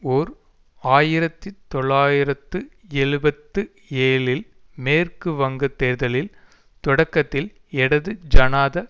ஓர் ஆயிரத்தி தொள்ளாயிரத்து எழுபத்து ஏழில் மேற்கு வங்க தேர்தலில் தொடக்கத்தில் இடது ஜனாத